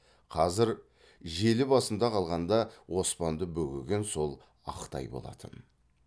қазір желі басында қалғанда оспанды бөгеген сол ақ тай болатын